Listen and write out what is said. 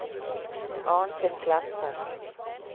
Arnfinn Kleppe